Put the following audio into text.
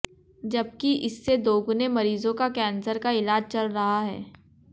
जबकि इससे दोगुने मरीजों का कैंसर का इलाज चल रहा है